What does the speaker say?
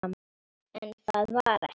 En það var ekki.